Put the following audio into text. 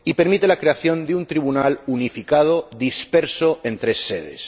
Y permite la creación de un Tribunal unificado disperso en tres sedes.